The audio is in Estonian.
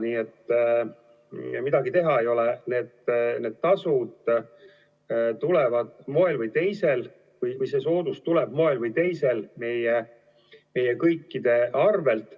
Nii et midagi teha ei ole, need tasud ja soodustused tulevad moel või teisel meie kõikide arvelt.